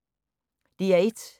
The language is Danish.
DR1